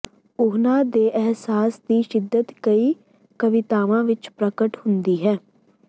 ਉਹਨਾਂ ਦੇ ਅਹਿਸਾਸ ਦੀ ਸ਼ਿੱਦਤ ਕਈ ਕਵਿਤਾਵਾਂ ਵਿਚ ਪ੍ਰਗਟ ਹੁੰਦੀ ਹੈ